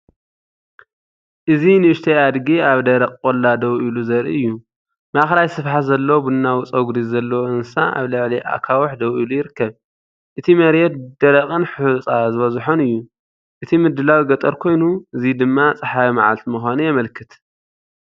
እዚ ንእሽተይ ኣድጊ ኣብ ደረቕ ቆላ ደው ኢሉ ዘርኢ እዩ። ማእከላይ ስፍሓት ዘለዎ ቡናዊ ጸጉሪ ዘለዎ እንስሳ ኣብ ልዕሊ ኣኻውሕ ደው ኢሉ ይርከብ። እቲ መሬት ደረቕን ሑጻ ዝበዝሖን እዩ። እቲ ምድላው ገጠር ኮይኑ፡እዚ ድማ ጸሓያዊ መዓልቲ ምዃኑ የመልክት።